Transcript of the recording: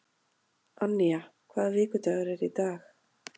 Annía, hvaða vikudagur er í dag?